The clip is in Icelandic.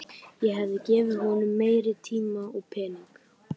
Ég hefði gefið honum meiri tíma og pening.